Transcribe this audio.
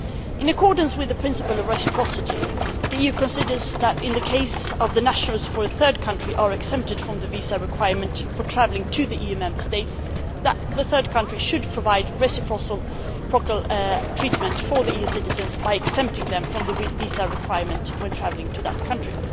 In accordance with the principle of reciprocity, the EU considers that, in the case of nationals from third countries who are exempted from the visa requirement for travelling to the EU Member States, the third country should provide reciprocal treatment for the EU citizens by exempting them from the visa requirement when travelling to that country.